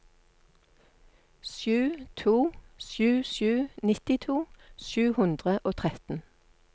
sju to sju sju nittito sju hundre og tretten